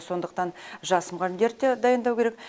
сондықтан жас мұғалімдерді де дайындау керек